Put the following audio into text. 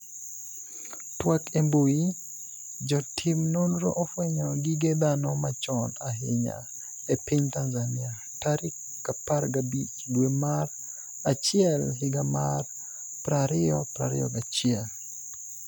twak e mbui, Jotim nonro ofwenyo gige dhano machon ahinya e piny Tanzania tarik 15 dwe mar achiel higa mar 2021